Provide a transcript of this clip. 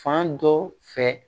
Fan dɔ fɛ